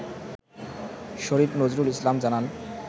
শরীফ নজরুল ইসলাম জানান